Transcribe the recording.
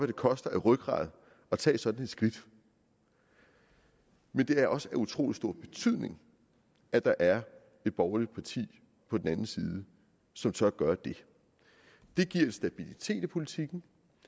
det koster af rygrad at tage sådan et skridt men det er også af utrolig stor betydning at der er et borgerligt parti på den anden side som så gør det det giver en stabilitet i politikken